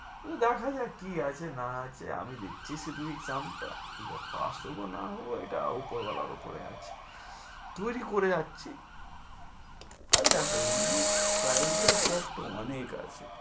দেখা যাক কি আছে না আছে, আমি দিচ্ছি শুধুই exam টা। কি pass হবো না হবো এটা ওপর ওয়ালার উপরে আছে। তৈরী করে যাচ্ছি, আর দেখো এমনি private job তো অনেক আছে।